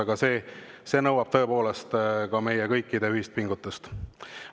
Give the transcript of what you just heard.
Aga see nõuab tõepoolest meie kõikide ühist pingutust.